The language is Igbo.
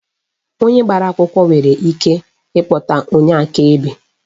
Onye agbara akwụkwọ nwere ike ikpọta onye akaebe.